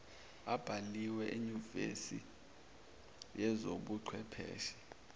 abhalise enyuvesi yezobuchwepheshe